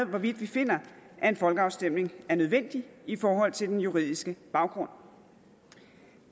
hvorvidt vi finder at en folkeafstemning er nødvendig i forhold til den juridiske baggrund